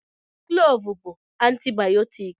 Klọọvụ bụ antibayọtiki.